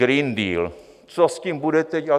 Green Deal, co s tím budete dělat?